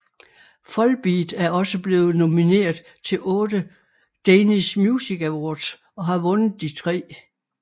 Volbeat er også blevet nomineret til otte Danish Music Awards og har vundet de tre